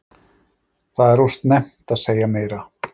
Það er of snemmt að segja meira,